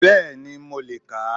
Bẹ́ẹ̀ni mo lè kà á